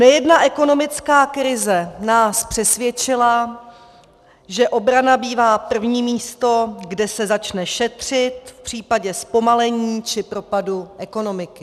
Nejedna ekonomická krize nás přesvědčila, že obrana bývá první místo, kde se začne šetřit v případě zpomalení či propadu ekonomiky.